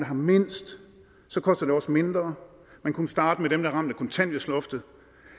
har mindst så koster det også mindre man kunne starte med dem der er ramt af kontanthjælpsloftet